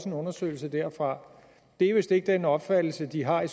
en undersøgelse derfra og det er vist ikke den opfattelse de har i